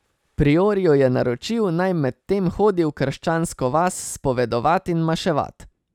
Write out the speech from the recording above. Priorju je naročil, naj medtem hodi v krščansko vas spovedovat in maševat.